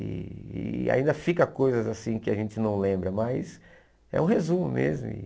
E e ainda ficam coisas que a gente não lembra, mas é um resumo mesmo.